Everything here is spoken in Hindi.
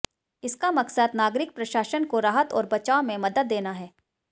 इसका मकसद नागरिक प्रशासन को राहत और बचाव में मदद देना है